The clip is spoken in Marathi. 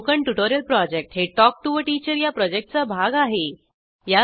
स्पोकन ट्युटोरियल प्रॉजेक्ट हे टॉक टू टीचर या प्रॉजेक्टचा भाग आहे